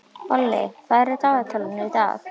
Olli, hvað er í dagatalinu í dag?